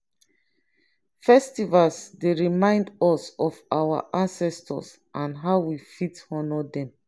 festivals dey remind us of our ancestors and how we fit honor dem.